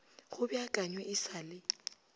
go beakanywe e sa le